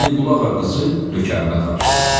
Hüseynqulağa qızı nökərinə tapşırdı.